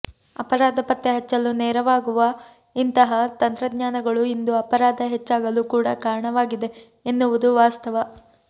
ಅಪರಾಧ ಪತ್ತೆ ಹೆಚ್ಚಲು ನೆರವಾಗುವ ಇಂತಹ ತಂತ್ರಜ್ಞಾನಗಳು ಇಂದು ಅಪರಾಧ ಹೆಚ್ಚಾಗಲು ಕೂಡ ಕಾರಣವಾಗಿದೆ ಎನ್ನುವುದು ವಾಸ್ತವ